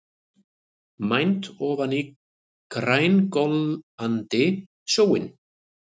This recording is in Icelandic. Mænt ofan í grængolandi sjóinn.